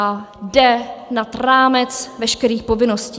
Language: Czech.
A jde nad rámec veškerých povinností.